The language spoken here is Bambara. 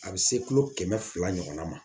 A bɛ se kilo kɛmɛ fila ɲɔgɔnna ma